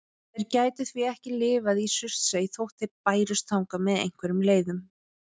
Þeir gætu því ekki lifað í Surtsey þótt þeir bærust þangað með einhverjum leiðum.